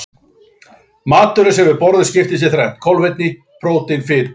Maturinn sem við borðum skiptist í þrennt: kolvetni, prótín og fitu.